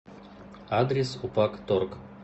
адрес упакторг